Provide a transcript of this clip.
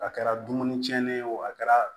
A kɛra dumuni tiɲɛnen ye o a kɛra